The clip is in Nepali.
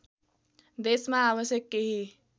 देशमा आवश्यक केही